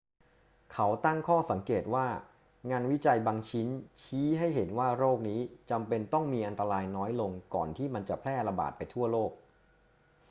เขาตั้งข้อสังเกตว่า งานวิจัยบางชิ้นชี้ให้เห็นว่าโรคนี้จำเป็นต้องมีอันตรายน้อยลงก่อนที่มันจะแพร่ระบาดไปทั่วโลก